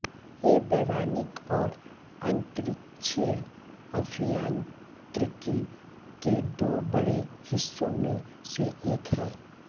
ये वैमानिक और अन्तरिक्षीय अभियान्त्रिकी के दो बड़े हिस्सों में से एक है